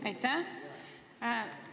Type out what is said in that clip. Aitäh!